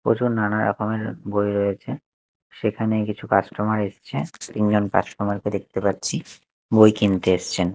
প্রচুর নানা রকমের বই রয়েছে সেখানে কিছু কাস্টমার এসছে তিনজন কাস্টমার -কে দেখতে পাচ্ছি বই কিনতে এসছেন।